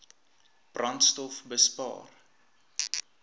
brandstofbespaar